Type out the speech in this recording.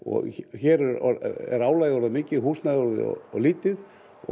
hér er álagið orðið mikið og húsnæðið orðið of lítið